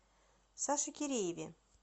саше кирееве